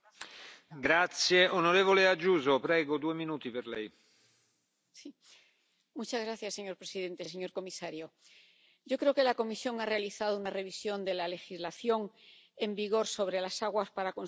Señor presidente, señor comisario, yo creo que la Comisión ha realizado una revisión de la legislación en vigor sobre las aguas para consumo humano que es oportuna, porque las normas actuales necesitaban una actualización.